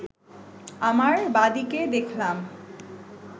আমার বাঁ দিকে দেখলাম